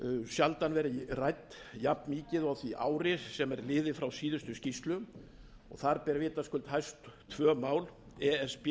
sjaldan verið rædd jafnmikið og á því ári sem er liðið frá síðustu skýrslu þar ber vitaskuld hæst tvö mál e s